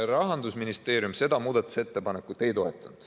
Rahandusministeerium seda muudatusettepanekut ei toetanud.